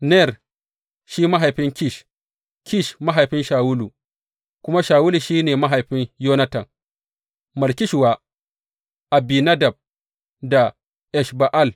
Ner shi mahaifin Kish, Kish mahaifin Shawulu, kuma Shawulu shi ne mahaifin Yonatan, Malki Shuwa, Abinadab da Esh Ba’al.